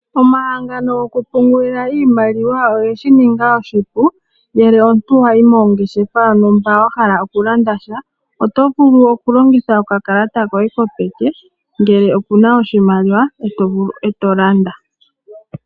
Omahangano goku pungulila iimaliwa, ogeshi ninga oshipu, ngele omuntu owayi mongeshefa nenge wa hala oku landa sha oto vulu oku longitha oka kalata koye kopeke ngele okuna oshimaliwa, eto landa.